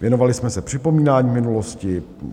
Věnovali jsme se připomínání minulosti.